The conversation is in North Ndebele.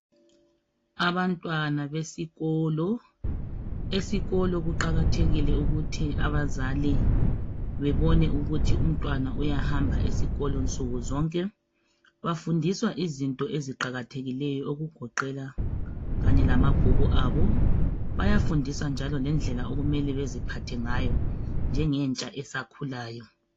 Abantwana besikolo. Esikolo kuqakathekile ukuthi bazali bebone ukuthi umntwana uyahamba esikolo nsuku zonke. Bafundiswa izinti eziqakathekileyo okugoqela kanye lamabhuku abo ayafundisa njalo ngedlela okumele baziphathe ngayo, njengetsha esakhulayo.